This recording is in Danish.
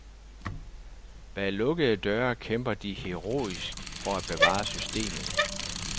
Bag lukkede døre kæmper de heroisk for at bevare systemet.